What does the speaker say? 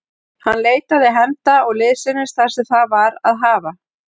Hann leitaði hefnda og liðsinnis þar sem það var að hafa.